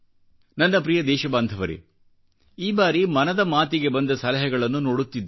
ನನ್ನ ಪ್ರಿಯ ದೇಶಬಾಂಧವರೇ ಈ ಬಾರಿ ಮನದ ಮಾತಿಗೆ ಬಂದ ಸಲಹೆಗಳನ್ನು ನೋಡುತ್ತಿದ್ದೆ